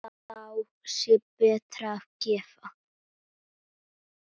Þá sé betra að gefa.